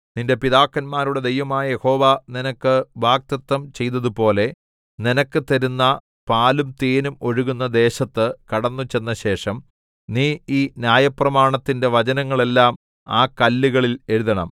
നിന്റെ പിതാക്കന്മാരുടെ ദൈവമായ യഹോവ നിനക്ക് വാഗ്ദത്തം ചെയ്തതുപോലെ നിനക്ക് തരുന്ന പാലും തേനും ഒഴുകുന്ന ദേശത്ത് കടന്നുചെന്നശേഷം നീ ഈ ന്യായപ്രമാണത്തിന്റെ വചനങ്ങളെല്ലാം ആ കല്ലുകളിൽ എഴുതണം